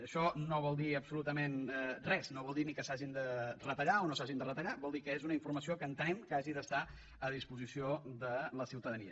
això no vol dir absolutament res no vol dir ni que s’hagin de retallar o no s’hagin de retallar vol dir que és una informació que entenem que ha d’estar a disposició de la ciutadania